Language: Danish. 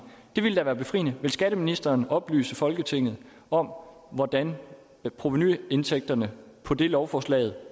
det ville da være befriende vil skatteministeren oplyse folketinget om hvordan provenuindtægterne på det lovforslag